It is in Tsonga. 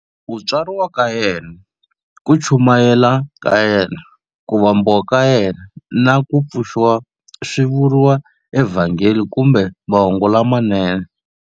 Ku tswariwa ka yena, ku chumayela ka yena, ku vambiwa ka yena, na ku pfuxiwa swi vuriwa eVhangeli kumbe Mahungu lamanene.